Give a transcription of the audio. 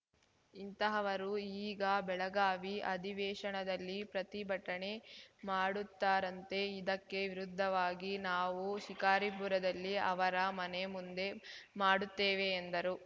ಇಂತಹವರು ಈಗ ಬೆಳಗಾವಿ ಅಧಿವೇಶನದಲ್ಲಿ ಪ್ರತಿಭಟನೆ ಮಾಡುತ್ತಾರಂತೆ ಇದಕ್ಕೆ ವಿರುದ್ದವಾಗಿ ನಾವು ಶಿಕಾರಿಪುರದಲ್ಲಿ ಅವರ ಮನೆ ಮುಂದೆ ಮಾಡುತ್ತೇವೆ ಎಂದರು